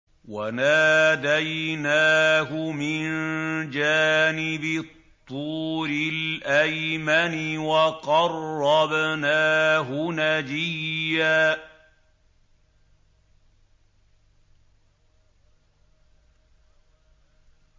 وَنَادَيْنَاهُ مِن جَانِبِ الطُّورِ الْأَيْمَنِ وَقَرَّبْنَاهُ نَجِيًّا